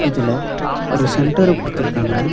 இதுல ஒரு சென்டர குடுத்துருக்காங்க.